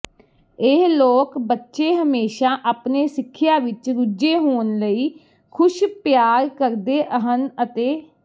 ਇਹ ਲੋਕ ਬੱਚੇ ਹਮੇਸ਼ਾ ਆਪਣੇ ਸਿੱਖਿਆ ਵਿੱਚ ਰੁੱਝੇ ਹੋਣ ਲਈ ਖੁਸ਼ ਪਿਆਰ ਕਰਦੇ ਹਨ ਅਤੇ